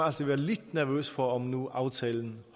altid være lidt nervøs for om nu aftalen